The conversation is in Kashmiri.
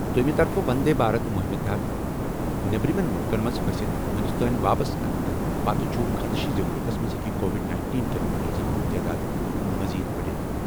دوٚیمہِ طرفہٕ، وندے بھارت مُہِمہِ تحت نیبرِمٮ۪ن مُلکَن منٛز پھٔسِتھ ہندوستٲنۍ واپس اننہٕ پتہٕ چھُ خدشہٕ زِ مُلکَس منٛز ہٮ۪کہِ کووِڈ-19 کین مریضَن ہٕنٛز تعداد مٔزیٖد بٔڑِتھ۔